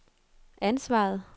ansvaret